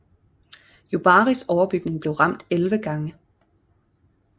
Yubaris overbygning blev ramt 11 gange